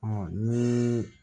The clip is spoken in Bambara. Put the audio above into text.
ni